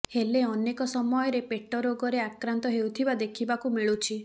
ହେଲେ ଅନେକ ସମୟରେ ପେଟ ରୋଗରେ ଆକ୍ରାନ୍ତ ହେଉଥିବା ଦେଖିବାକୁ ମିଳୁଛି